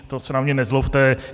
To se na mě nezlobte.